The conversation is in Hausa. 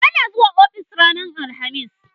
ba na zuwa ofis ranar alhamis